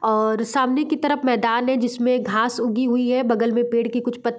और सामने की तरफ मैदान है जिसमें घास उगी हुई है बगल में पेड़ के कुछ पत्त --